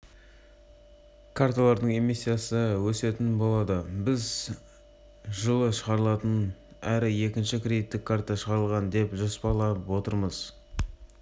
карталардың эмиссиясы өсетін болады біз жылы шығарылатын әр екінші кредиттік карта шығарылады деп жоспарлап отырмыз